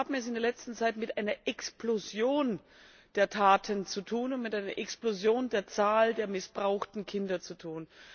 Wir haben es in der letzten Zeit mit einer Explosion der Taten und mit einer Explosion der Zahl der missbrauchten Kinder zu tun.